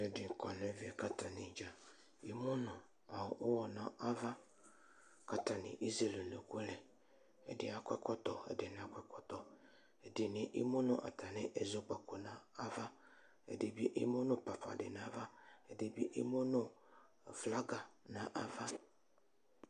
Ɛdini kɔnʋ ɛmɛ kʋ atanidza emʋnʋ ʋwɔ nʋ ava, kʋ atani ezele ʋnʋkʋ lɛ, ɛdi akɔ ɛkɔtɔ, ɛdini nakɔ ɛkɔtɔ, ɛdini emʋnʋ atami ɛzɔkpako nʋ ava, ɛdibi emʋnʋ papadi nʋ ava, ɛdibi emʋnʋ flaga nʋ ava